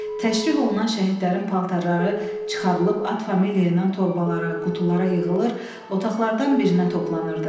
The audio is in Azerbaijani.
Təşrih olunan şəhidlərin paltarları çıxarılıb at familya ilə torbalara, qutulara yığılır, otaqlardan birinə toplanırdı.